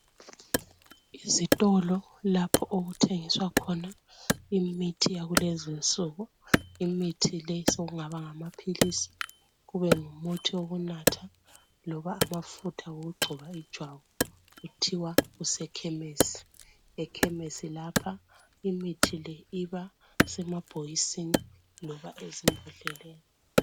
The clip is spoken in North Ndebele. Izitolo lapho okuthengiswa khona imithi yalezinsuku imithi le sokungba ngamaphilizi, kube ngumuthi okunatha loba amafutha okugcoba ijwabu, kuthiwa kusekhemesi, ekhemesi lapha imithi le iba semabbokisini loba embodleleni